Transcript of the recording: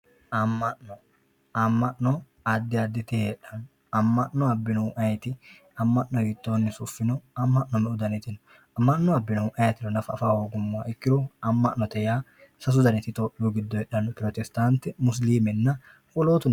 ama'no ama'no addi additi heexanno ama'no abiyoohu ayiiti ama'no hiitoonni sufino ama'no me"u daniti no ama'no abiyoohu ayiitiro nafu afahoogumoha ikkiro ama'no sasu daniti itophiyaho hexannoprotestante musiliimenanna wolootuno kuri labannori